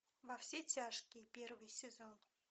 во все тяжкие первый сезон